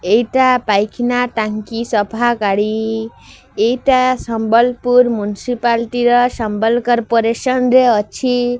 ଏଇଟା ପାଇଖାନା ଟାଙ୍କି ସଫା ଗାଡି। ଏଇଟା ସମ୍ବଲପୁର ମୁନସିପାଲଟି